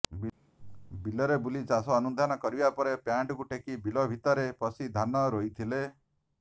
ବିଲରେ ବୁଲି ଚାଷ ଅନୁଧ୍ୟାନ କରିବା ପରେ ପ୍ୟାଣ୍ଟକୁ ଟେକି ବିଲ ଭିତରେ ପଶି ଧାନ ରୋଇଥିଲେ